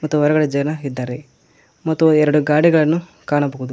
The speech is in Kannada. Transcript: ಮತ್ತು ಹೊರಗಡೆ ಜನ ಇದ್ದಾರೆ ಮತ್ತು ಎರಡು ಗಾಡಿಗಳನ್ನು ಕಾಣಬಹುದು.